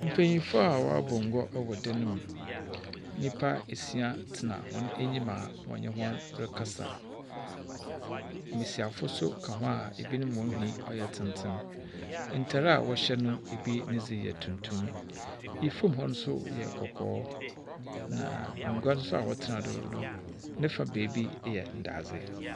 Mpenyinfo a wɔabɔ ngua wɔ dan mu. Nyimpa esia tsena hɔn enyima wɔnye hɔn rekasa. Mbesiafo nso ka ho a binom hɔn nhwi yɛ tsentsen. Ntar a wɔhyɛ no, bi ne dze yɛ tuntum. Famu hɔ nso yɛ kɔkɔɔ. Na ngua nso a wɔtsena do no ne fa beebi yɛ ndadze.